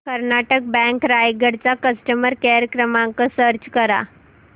Karnataka bank Raigad चा customer care क्रमांक search कर